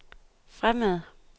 fremad